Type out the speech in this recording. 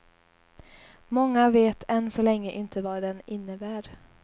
Många vet än så länge inte vad den innebär.